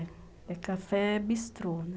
É. É café bistrô, né?